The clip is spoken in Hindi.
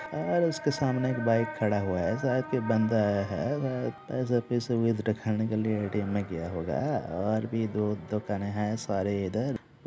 और उसके सामने एक बाइक खड़ा हुआ है एह शायद कोई बाँदा है व पैसा वैसा वेद रखाने की लिए ए.टी.एम में गया होगा और भी दो दुकाने है सारे इधर।